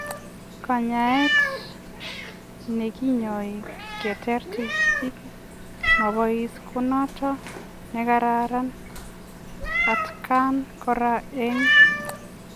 Kanyaet nekinyoi keteer tigitik mapois konotok nekararan atkaan koraa eng